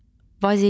Vazelin.